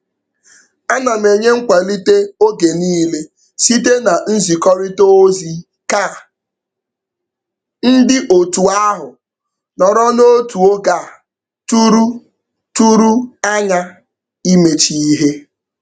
Ana m enye nkwalite oge niile site na nzikọrịta ozi ka ndị otu ahụ nọrọ n'otu oge a tụrụ tụrụ anya imecha ihe.